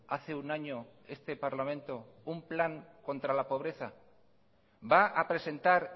hace un año este parlamento un plan contra la pobreza va a presentar